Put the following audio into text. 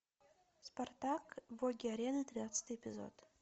спартак боги арены тринадцатый эпизод